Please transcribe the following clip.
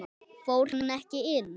Fór hann ekki inn?